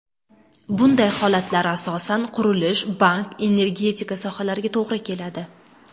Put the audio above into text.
Bunday holatlar, asosan, qurilish, bank, energetika sohalariga to‘g‘ri keladi.